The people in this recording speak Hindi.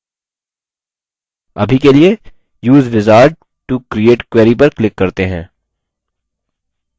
अभी के लिए use wizard to create query पर click करते हैं